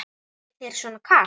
Er þér svona kalt?